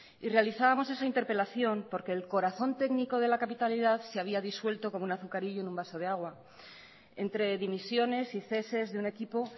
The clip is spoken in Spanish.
y realizábamos esa interpelación porque el corazón técnico de la capitalidad se había disuelto como un azucarillo en un vaso de agua entre dimisiones y ceses de un equipo